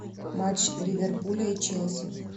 матч ливерпуля и челси